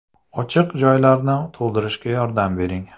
Ochiq joylarni to‘ldirishga yordam bering”.